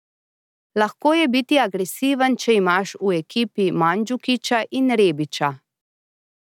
Lahko je biti agresiven, če imaš v ekipi Mandžukića in Rebića.